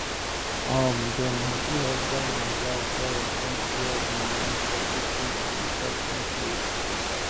um dem happy husband and wife parents don share the money for catering and reception place